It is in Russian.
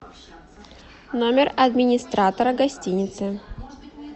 номер администратора гостиницы